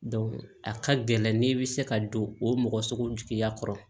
a ka gɛlɛn n'i bɛ se ka don o mɔgɔ sugu jigiya kɔrɔ